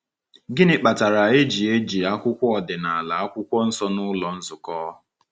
Gịnị kpatara e ji eji akwụkwọ ọdịnala Akwụkwọ Nsọ n’ụlọ nzukọ?